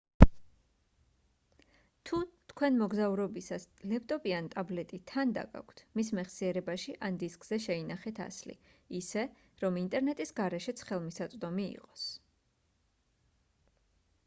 თუ თქვენ მოგზაურობისას ლეპტოპი ან ტაბლეტი თან დაგაქვთ მის მეხსიერებაში ან დისკზე შეინახეთ ასლი ისე რომ ინტერნეტის გარეშეც ხელმისაწვდომი იყოს